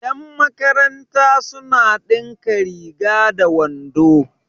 yanmakaranta suna dinka riga da wando